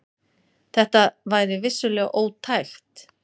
Þetta væri vissulega ótækt.